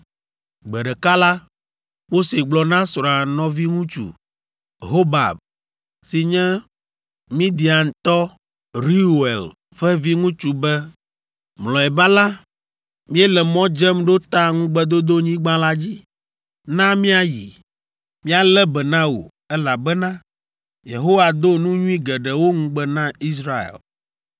Gbe ɖeka la, Mose gblɔ na srɔ̃a nɔviŋutsu, Hobab si nye Midiantɔ Reuel ƒe viŋutsu be, “Mlɔeba la, míele mɔ dzem ɖo ta Ŋugbedodonyigba la dzi. Na míayi. Míalé be na wò, elabena Yehowa do nu nyui geɖewo ŋugbe na Israel!”